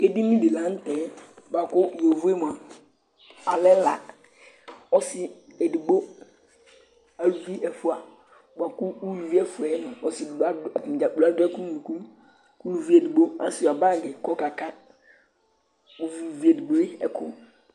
Edini di la n'tɛ bua kʋ yovo yɛ mua alɛ la, ɔsi edigbo, aluvi ɛfua bua kʋ uluvi ɛfua yɛ nʋ ɔsi edigbo adʋ , atani dzaa kplo adʋ ɛkʋ n'unuku, k'uluvi asua bag k'ɔka ka uvi uluvi edigbo yɛ ɛkʋ